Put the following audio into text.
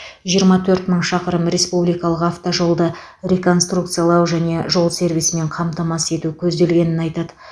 жиырма төрт мың шақырым республикалық автожолды реконструкциялау және жол сервисімен қамтамасыз ету көзделгенін айтады